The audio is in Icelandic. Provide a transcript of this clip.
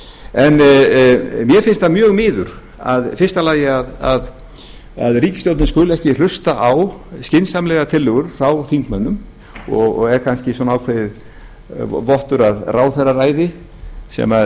mér finnst það mjög miður í fyrsta lagi að ríkisstjórnin skuli ekki hlusta á skynsamlegar tillögur frá þingmönnum og er kannski svona ákveðinn vottur af ráðherraræði sem